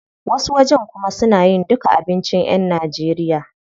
Wasu wajen kuma suna yin duka abincin yan Najeriya.